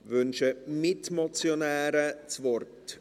Wünschen die Mitmotionäre das Wort?